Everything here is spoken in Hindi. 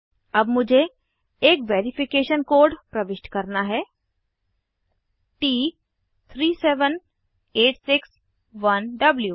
अब मुझे एक वेरिफिकेशन कोड प्रविष्ट करना है - T37861W